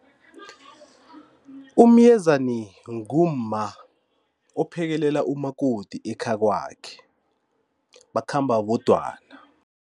UMyezani ngumma ophekelela umakoti ekhakwakhe bakhamba bodwana.